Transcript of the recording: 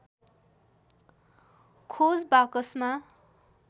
खोज बाकसमा